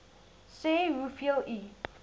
sê hoeveel u